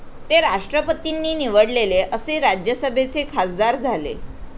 ते राष्ट्रपतींनी निवडलेले असे राज्यसभेचे खासदार झाले